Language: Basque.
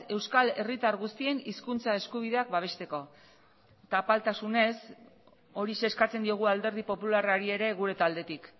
euskal herritar guztien hizkuntza eskubideak babesteko eta apaltasunez horixe eskatzen diogu alderdi popularrari ere gure taldetik